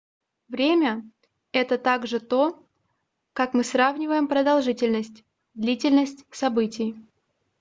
время — это также то как мы сравниваем продолжительность длительность событий